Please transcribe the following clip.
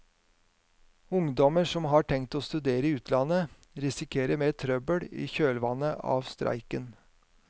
Ungdommer som har tenkt å studere i utlandet risikerer mer trøbbel i kjølvannet av streiken.